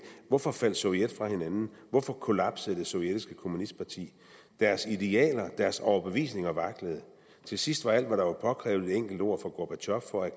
hvorfor faldt sovjet fra hinanden hvorfor kollapsede det sovjetiske kommunistparti deres idealer deres overbevisninger vaklede og til sidst var alt der var påkrævet et enkelt ord fra gorbatjov for at